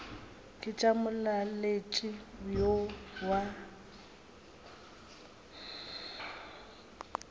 ke tša molaletši yo wa